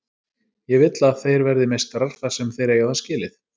Ég vill að þeir verði meistarar þar sem þeir eiga það skilið.